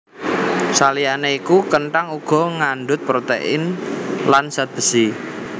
Saliyané iku kenthang uga ngandhut protein lan zat besi